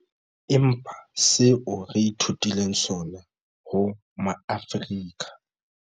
Empa seo re ithutileng sona ho Maafrika